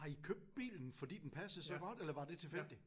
Har I købt bilen fordi den passede så godt eller var det tilfældigt?